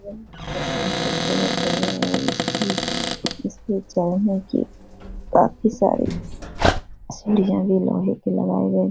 यह काफी खूबसूरत है यह और इसपे इसपे चढ़ने की काफी सारे सीढ़ियां भी लोहे की लगाऐ गए है ।